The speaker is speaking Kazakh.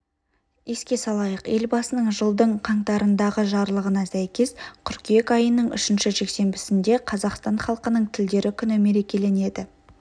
еске салайық елбасының жылдың қаңтарындағы жарлығына сәйкес қыркүйек айының үшінші жексенбісінде қазақстан халқының тілдері күні мерекеленеді